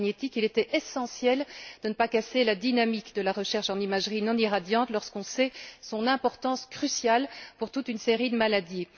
Il était essentiel de ne pas casser la dynamique de la recherche en imagerie non irradiante lorsqu'on sait son importance cruciale pour toute une série de maladies.